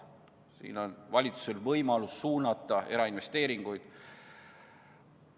Siin on valitsusel võimalus suunata ka erainvesteeringuid.